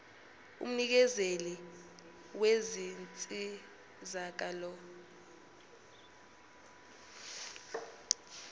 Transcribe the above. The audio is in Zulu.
umnikezeli wezinsizaka lo